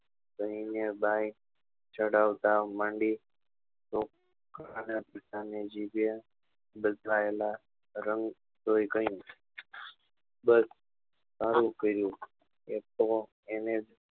કહી ને બાય ચડવતા માંડી પિતાના જીભે બદલાયેલા રંગ જોઈ કહ્યું બસ સારું કર્યું એક તો એને